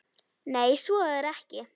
Nei, svo er ekki.